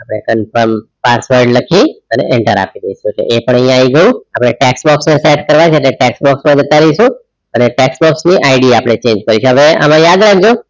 આપડે confirm password લખી અને enter આપી દેઇશુ એટલે એ પણ આઇ ગયું આપડે text box ને સેટ કરવા છે એટલે text box માં જતા રાઈશુ ને text box ID આપડે change કરીશુ હવે આગમાં યાદ રાખજો